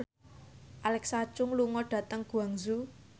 Alexa Chung lunga dhateng Guangzhou